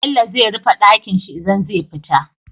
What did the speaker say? Bello zai rife Ɗakinshi idan zai fita